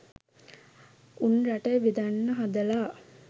උන් රට බෙදන්න හදලා